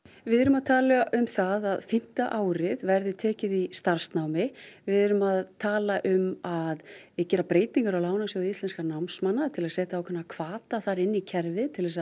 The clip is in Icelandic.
við erum að tala um það að fimmta árið verði tekið í starfsnámi við erum að tala um að gera breytingar á Lánasjóði Íslenskra námsmanna til að setja ákveðna hvata þar inn í kerfið til